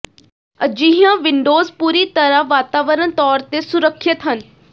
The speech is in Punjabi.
ਅਜਿਹੀਆਂ ਵਿੰਡੋਜ਼ ਪੂਰੀ ਤਰ੍ਹਾਂ ਵਾਤਾਵਰਨ ਤੌਰ ਤੇ ਸੁਰੱਖਿਅਤ ਹਨ